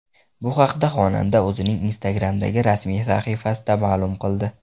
Bu haqda xonanda o‘zining Instagram’dagi rasmiy sahifasida ma’lum qildi .